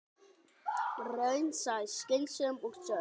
Raunsæ, skynsöm og sönn.